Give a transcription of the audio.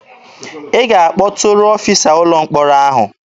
Ị ga-akpọtụrụ ọfịsa ụlọ mkpọrọ ahụ!